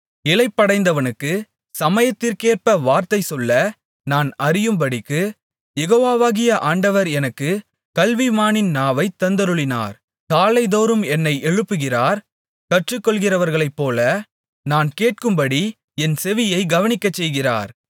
இளைப்படைந்தவனுக்கு சமயத்திற்கேற்ற வார்த்தை சொல்ல நான் அறியும்படிக்கு யெகோவாவாகிய ஆண்டவர் எனக்குக் கல்விமானின் நாவைத் தந்தருளினார் காலைதோறும் என்னை எழுப்புகிறார் கற்றுக்கொள்கிறவர்களைப்போல நான் கேட்கும்படி என் செவியைக் கவனிக்கச்செய்கிறார்